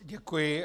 Děkuji.